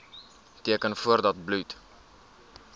teken voordat bloed